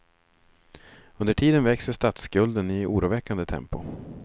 Under tiden växer statsskulden i oroväckande tempo.